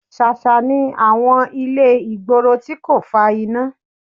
Ṣàṣà ni àwọn ilé ìgboro tí kò fa iná